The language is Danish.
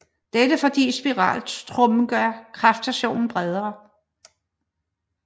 Dette fordi spiraltrommen gør kraftstationen bredere